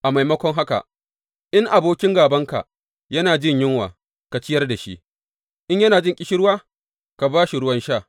A maimakon haka, In abokin gābanka yana jin yunwa, ka ciyar da shi; in yana jin ƙishirwa, ka ba shi ruwan sha.